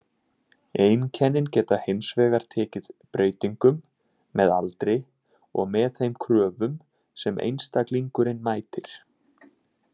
Einkennin geta hins vegar tekið breytingum með aldri og með þeim kröfum sem einstaklingurinn mætir.